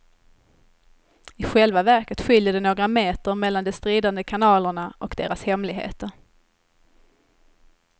I själva verket skiljer det några meter mellan de stridande kanalerna och deras hemligheter.